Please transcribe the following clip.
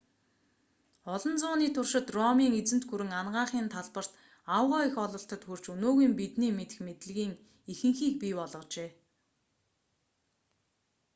олон зууны туршид ромын эзэнт гүрэн анагаахын талбарт аугаа их ололтод хүрч өнөөгийн бидний мэдэх мэдлэгийн ихэнхийг бий болгожээ